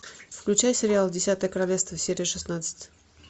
включай сериал десятое королевство серия шестнадцать